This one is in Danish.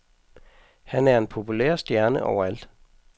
Han er en populær stjerne overalt.